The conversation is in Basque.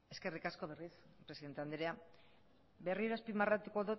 eskerrik asko berriz presidente andrea berriro azpimarratuko